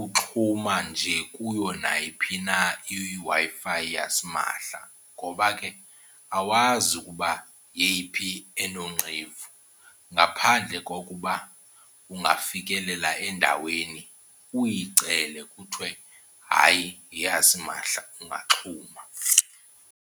uxhuma nje kuyo nayiphi na iWi-Fi yasimahla ngoba ke awazi ukuba yeyiphi enoonqevuvu, ngaphandle kokuba ungafikelela endaweni uyicele kuthwe hayi yeyasimahla ungaxhuma.